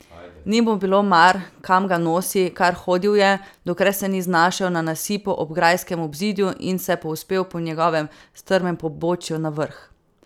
Ni mu bilo mar, kam ga nosi, kar hodil je, dokler se ni znašel na nasipu ob grajskem obzidju in se povzpel po njegovem strmem pobočju na vrh.